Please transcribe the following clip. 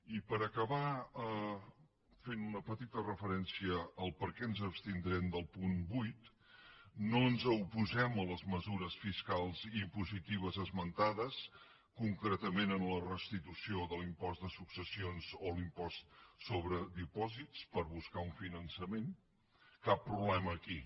i per acabar fent una petita referència a per què ens abstindrem del punt vuit no ens oposem a les mesures fiscals i impositives esmentades concretament en la restitució de l’impost de successions o l’impost sobre dipòsits per buscar un finançament cap problema aquí